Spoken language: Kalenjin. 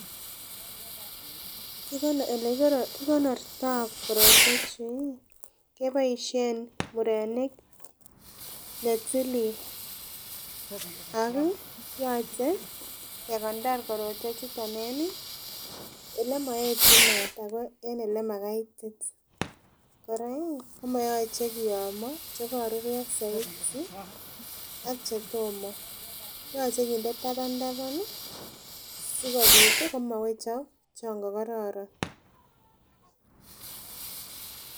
kikonorto kortwetechu keboisien murenik netilil ako yoche kekonor korotwechuton en elemoetyin maat ako en elemakaitit. Kora ih komoyoche kiyomo chekoruryo soiti ak chetomo. Yoche kinde taban taban ih sikobit komowechok chon kokororon